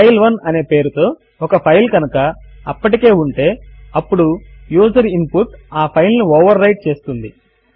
ఫైల్1 అనే పేరుతో ఒక ఫైల్ కనుక అప్పటికే ఉంటే అప్పుడు యూజర్ ఇన్ పుట్ ఆ ఫైల్ ను ఓవర్ వ్రైట్ చేస్తుంది